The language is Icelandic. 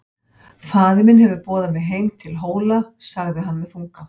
Faðir minn hefur boðað mig heim til Hóla, sagði hann með þunga.